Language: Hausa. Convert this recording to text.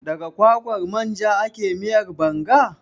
Daga kwakwar manja ake miyar Banga?